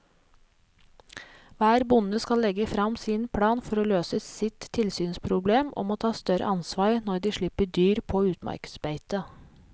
Hver bonde skal legge frem sin plan for å løse sitt tilsynsproblem og må ta større ansvar når de slipper dyr på utmarksbeite.